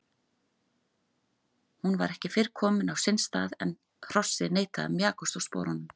Hún var ekki fyrr kominn á sinn stað en hrossið neitaði að mjakast úr sporunum.